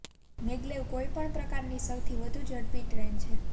maglev કોઇ પણ પ્રકારની સૌથી વધુ ઝડપી ટ્રેન છે